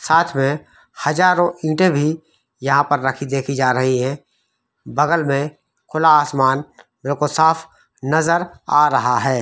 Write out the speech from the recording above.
साथ में हजारों ईटे भी यहां पर रखी देखी जा रही है बगल में खुला आसमान रुख-साफ नजर आ रहा है।